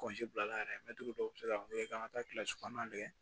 bila la yɛrɛ mɛtiri dɔw be se ka kɛ k'an ka taa kilasi kɔnɔn tigɛ